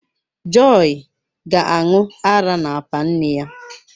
Joii ga-aṅụ ara n’apa nne ya.